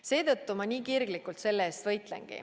Seetõttu ma nii kirglikult selle eest võitlengi.